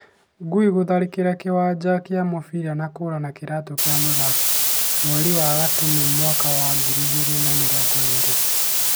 Ngui gutharikira kiwanja kia mubira na kura na kiratu kia muthaki ,mweri wa gatumu mwaka wa ngiri igiri na mirongo iri